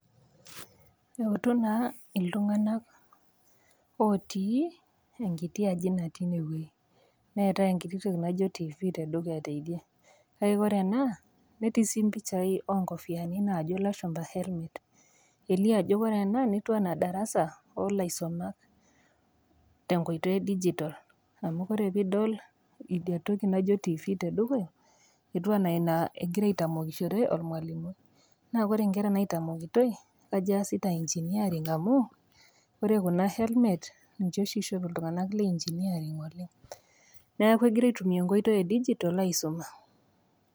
Eutu naa iltung'ana otii enkiti aji natii ine wueji, neatai enkiti toki naijo TV teidie e dukuya. Kake Kore ena netii sii impishai oonkofiani naajo ilashumba helmet. Elio ajo ore ena naa darasa oo ilaisumak te enkoitoi e digital . Ore pee idol idia toki naijo TV te dukuya, etiu ana Ina egira aitamokishore olmwalimui, naa Kore inkera naitamokitoi kajo easita engineering amu Kore Kuna helmet ninche oshi eishop iltung'ana le engineering oleng'. Neaku egira aitumia enkoitoi e digital aisoma.